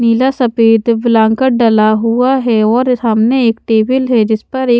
नीला सफेद बालांकाट डाला हुआ है और सामने एक टेबल है जिस पर एक--